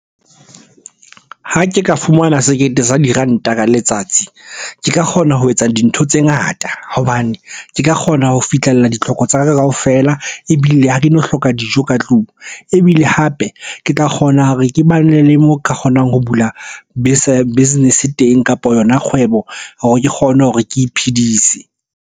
Ha ke ka fumana sekete sa diranta ka letsatsi. Ke ka kgona ho etsa dintho tse ngata hobane ke ka kgona ho fihlella ditlhoko tsa ka kaofela. Ebile ha ke eno hloka dijo ka tlung, ebile hape ke tla kgona hore ke bane le mo ke kgonang ho bula business-e teng kapa yona kgwebo hore ke kgone hore ke iphedise.